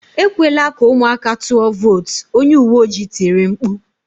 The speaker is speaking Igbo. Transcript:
Ekwela ka ụmụaka tụọ vootu"" Onye uwe ojii tiri mkpu